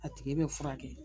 A tigi be furakɛ